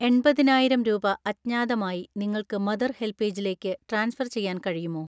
എൺപതിനായിരം രൂപ അജ്ഞാതമായി നിങ്ങൾക്ക് മദർ ഹെൽപ്പേജിലേക്ക് ട്രാൻസ്ഫർ ചെയ്യാൻ കഴിയുമോ?